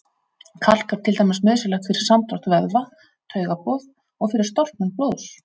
Kalk er til dæmis nauðsynlegt fyrir samdrátt vöðva, taugaboð og fyrir storknun blóðs.